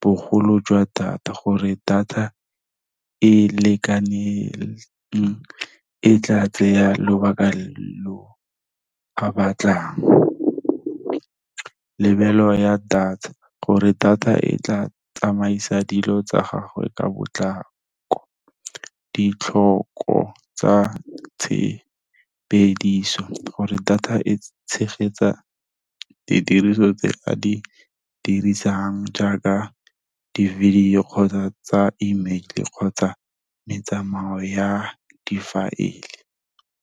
bogolo jwa data, gore data e lekaneng e tla tsaya lobaka lo a batlang. Lebelo ya data, gore data e tla tsamaisa dilo tsa gagwe ka botlako, ditlhoko tsa tshebediso, gore data e tshegetsa didiriso tse a di dirisang jaaka di-video-o, kgotsa tsa email-e, kgotsa metsamayo ya difaele.